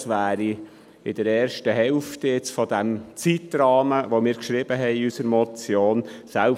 Das wäre in der ersten Hälfte des Zeitrahmens, den wir in unserer Motion angegeben haben.